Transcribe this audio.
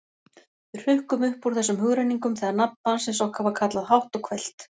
Við hrukkum upp úr þessum hugrenningum þegar nafn barnsins okkar var kallað hátt og hvellt.